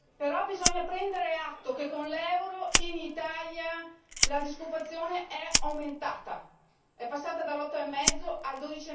Però, bisogna prendere atto che con l'euro in Italia la disoccupazione è aumentata è passata dall'8,5 al